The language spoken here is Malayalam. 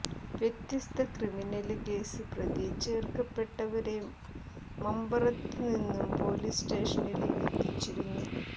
വ്യത്യസ്ഥ ക്രിമിനല് കേസില് പ്രതി ചേര്ക്കപ്പെട്ടവരെ മമ്പറത്ത് നിന്നും പൊലീസ് സ്റ്റേഷനില് എത്തിച്ചിരുന്നു